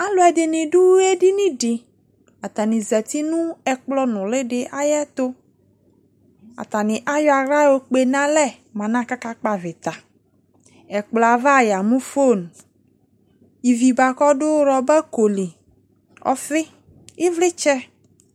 Ɛluɛe ne do edini de Atane zati no ɛkplɔ nule de ayeto Atane ayɔ ahla yɔkpe no alɛ mo ɛlɛ kaka kpɔ avita Ɛkplɔ ava ya mu fon Ivi boako ɔdo rɔbako li, ɔfe, evletsɛ